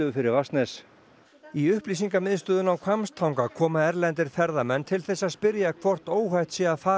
fyrir Vatnsnes í upplýsingamiðstöðina á Hvammstanga koma erlendir ferðamenn til þess að spyrja hvort óhætt sé að fara